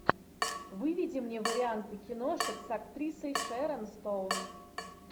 выведи мне варианты киношек с актрисой шэрон стоун